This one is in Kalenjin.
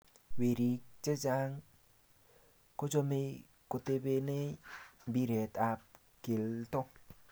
Weriik che chang kochomei kotebenei mpiret ab kelto.